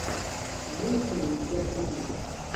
имеется ли у тебя клиника